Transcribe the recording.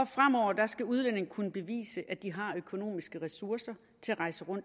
fremover skal udlændinge kunne bevise at de har økonomiske ressourcer